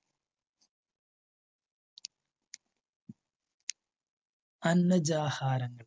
അന്നജഹാരങ്ങൾ